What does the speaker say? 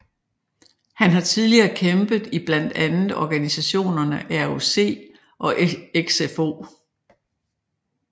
Han har tidligere kæmpet i blandt andet organisationerne ROC og XFO